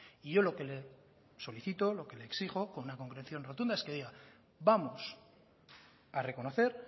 y yo lo que le solicito lo que le exijo con una concreción rotunda es que diga vamos a reconocer